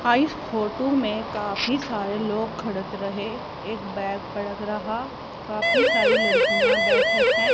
इस फोटो में काफी सारे लोग खड़त रहे। एक बैग पडक रहा काफी सारी लड़कियां बैठे है।